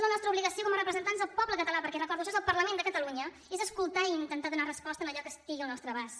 la nostra obligació com a representants del poble català perquè ho recordo això és el parlament de catalunya és escoltar i intentar donar hi resposta en allò que estigui al nostre abast